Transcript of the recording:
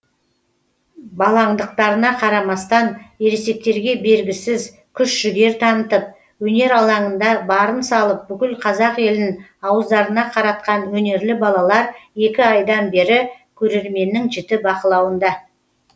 балаңдықтарына қарамастан ересектерге бергісіз күш жігер танытып өнер алаңында барын салып бүкіл қазақ елін ауыздарына қаратқан өнерлі балалар екі айдан бері көрерменнің жіті бақылауында